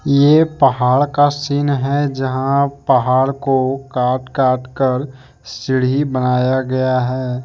ये पहाड़ का सीन है जहां पहाड़ को काट काट कर सीढ़ी बनाया गया हैं।